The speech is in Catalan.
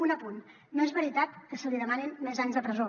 un apunt no és veritat que se li demanin més anys de presó